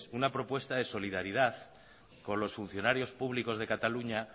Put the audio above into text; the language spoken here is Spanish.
una propuesta de solidaridad con los funcionarios públicos de cataluña